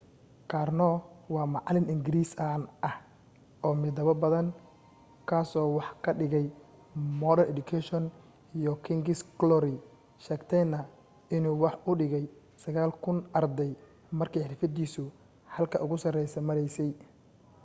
karno waa macalin ingiriisi caan ah oo midabo badan kaaso wax ka dhigay modern education iyo king's glory sheegtayna inuu wax u dhigay 9,000 arday markii xirfadiisu halka ugu sarreysa maraysay